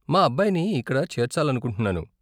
మా అబ్బాయిని ఇక్కడ చేర్చాలనుకుంటున్నాను.